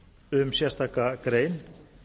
um sérstaka grein